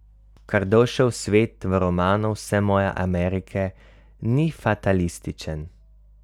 Kardošev svet v romanu Vse moje Amerike ni fatalističen.